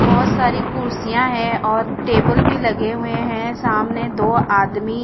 बहोत सारी कुर्सियां है और टेबल भी लगे हुए है सामने दो आदमी--